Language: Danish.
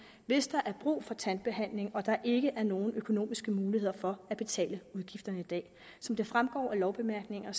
hvis der er brug for tandbehandling og der ikke er nogen økonomiske muligheder for at betale udgifterne i dag som det fremgår af lovbemærkningerne